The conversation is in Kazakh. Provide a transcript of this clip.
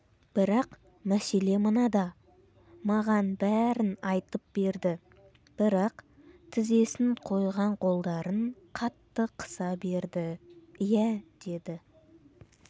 бірақ мәселе мынада маған бәрін айтып берді бірақ тізесін қойған қолдарын қатты қыса берді иә деді